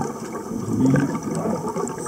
Dobili kaj?